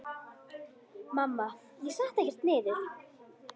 Mamma: Ég setti ekkert niður!